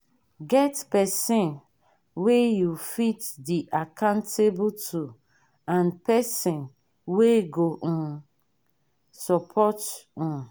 get persin wey you fit de accountable to and person wey go um support you um